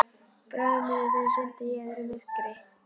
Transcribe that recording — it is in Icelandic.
Bráðum munu þau synda í öðru myrkri.